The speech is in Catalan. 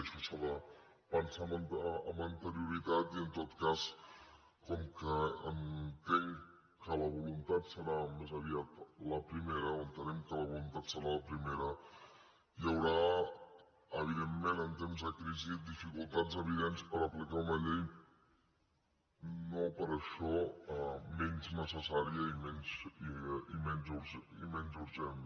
això s’ha de pensar amb anterioritat i en tot cas com que entenc que la voluntat serà més aviat la primera o entenem que la voluntat serà la primera hi haurà evidentment en temps de crisi dificultats evidents per aplicar una llei no per això menys necessària ni menys urgent